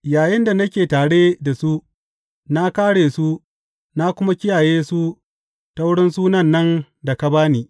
Yayinda nake tare da su, na kāre su na kuma kiyaye su ta wurin sunan nan da ka ba ni.